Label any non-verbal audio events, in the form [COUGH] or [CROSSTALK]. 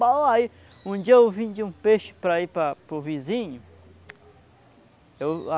[UNINTELLIGIBLE] Um dia eu vim de um peixe para ir para o vizinho.